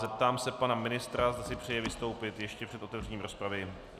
Zeptám se pana ministra, zda si přeje vystoupit ještě před otevřením rozpravy.